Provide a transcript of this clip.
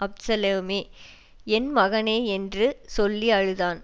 அப்சலோமே என் மகனே என்று சொல்லி அழுதான்